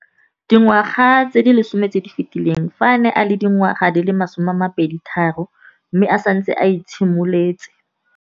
Dingwaga di le 10 tse di fetileng, fa a ne a le dingwaga di le 23 mme a setse a itshimoletse